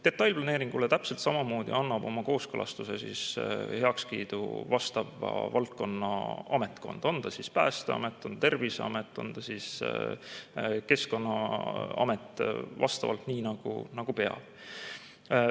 Detailplaneeringule täpselt samamoodi annab oma kooskõlastuse, heakskiidu vastav valdkonnaametkond, on see siis Päästeamet, Terviseamet, Keskkonnaamet – vastavalt nii, nagu peab.